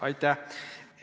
Aitäh!